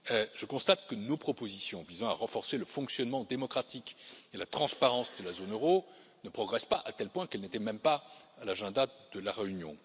Je constate que nos propositions visant à renforcer le fonctionnement démocratique et la transparence de la zone euro ne progressent pas, à tel point qu'elles n'étaient même pas à l'agenda de la réunion.